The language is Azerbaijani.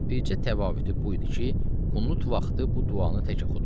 Bircə təvəhhütü bu idi ki, qunut vaxtı bu duanı tək oxudu.